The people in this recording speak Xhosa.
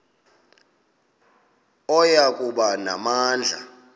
oya kuba namandla